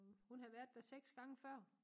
Hun havde været der 6 gange før